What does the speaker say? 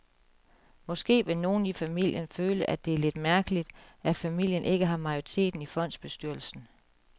Måske vil nogle i familien føle, at det er lidt mærkeligt, at familien ikke har majoriteten i fondsbestyrelsen.